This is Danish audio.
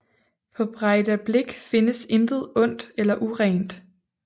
På Breidablik findes intet ondt eller urent